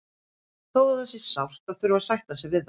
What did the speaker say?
Þó að það sé sárt að þurfa að sætta sig við það.